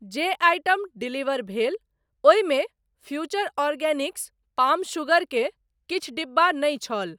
जे item deliver भेल ओहिमे फ्यूचर ऑर्गेनिक्स पाम शुगर के किछु डिब्बा नहि छल।